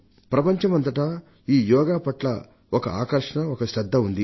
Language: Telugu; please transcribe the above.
ప్రపంచమంతటా ఈ యోగా పట్ల ఒక ఆకర్షణ ఒక శ్రద్ధ ఉన్నాయి